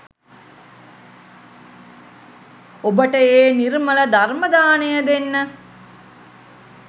ඔබට ඒ නිර්මල ධර්ම දානය දෙන්න